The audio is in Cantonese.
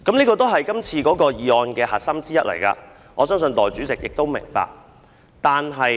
這是今次修訂的其中一個核心議題，我相信代理主席也明白。